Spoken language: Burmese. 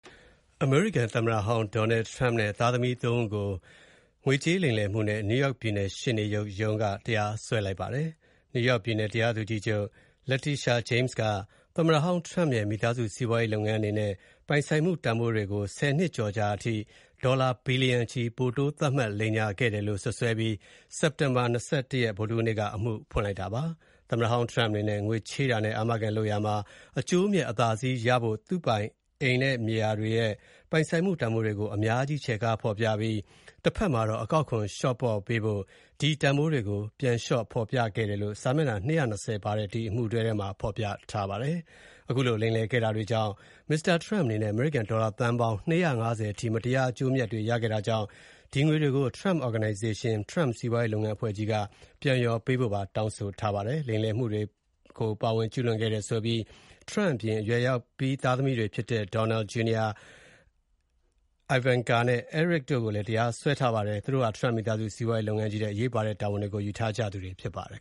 အမေရိကန်သမ္မတဟောင်း Donald Trump နဲ့ သားသမီး ၃ ဦးကို လိမ်လည်မှုနဲ့ New York ပြည်နယ်ရှေ့နေချုပ်ရုံးက တရားစွဲလိုက်ပါတယ်။ နယူးယောက်ပြည်နယ် တရားသူကြီးချုပ် Letitia James က သမ္မတဟောင်း Trump ရဲ့မိသားစုစီးပွားရေးလုပ်ငန်းအနေနဲ့ ပိုင်ဆိုင်မှုတန်ဖိုးတွေကို ဆယ်နှစ်ကျော်ကြာ ဒေါ်လာဘီလျံချီ ပိုတိုးသတ်မှတ် လိမ်လည်ခဲ့တယ် လို့ စွပ်စွဲပြီး စက်တင်ဘာ ၂၁ ရက် ဗုဒ္ဓဟူးနေ့က အမှုဖွင့်လိုက်တာဖြစ်ပါတယ်။ သမ္မတဟောင်း Trump အနေနဲ့ ငွေချေးတာနဲ့ အာမခံလုပ်ရာမှာ အကျိုးအမြတ်အသာစီးရဖို့ သူပိုင်အိမ်နဲ့မြေယာတွေရဲ့ပိုင်ဆိုင်မှုတန်ဖိုးတွေကို အများကြီး ချဲ့ကားဖော်ပြပြီး တဘက်မှာတော့ အကောက်ခွန်လျှော့ပေးဖို့ ဒီတန်ဖိုးတွေကို ပြန်လျှော့ဖော်ပြခဲ့တယ်လို့ စာမျက်မှာ ၂၂၀ ပါတဲ့ ဒီအမှုတွဲထဲ ဖော်ပြထားပါတယ်။ အခုလို လိမ်လည်ခဲ့တာတွေကြောင့် Mr. Trump အနေနဲ့ အမေရိကန် ဒေါ်လာသန်းပေါင်း ၂၅၀ အထိ မတရား အကျိုးအမြတ်တွေရခဲ့တာကြောင့် ဒီငွေတွေကို Trump Organization၊ Trump စီးပွားရေးလုပ်ငန်း အဖွဲ့ကြီးက ပြန်လျော်ပေးဖို့ပါ တောင်းဆိုထားပါတယ်။ လိမ်လည်မှုတွေကို ပါဝင်ကျူးလွန်ခဲ့တယ်လို့ဆိုပြီး Trump အပြင် အရွယ်ရောက်ပြီးသားသမီးတွေဖြစ်တဲ့ Donald Jr. ၊ Ivanka နဲ့ Eric တို့ကိုလည်း တရားစွဲပါတယ်။ သူတို့ဟာ Trump မိသားစုစီးပွားရေးလုပ်ငန်းကြီးထဲ အရေးပါတဲ့တာဝန်တွေကို ယူထားကြသူတွေဖြစ်ပါတယ်